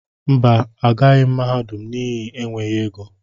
Mba, agughi m mahadum n'ihi enweghị égo.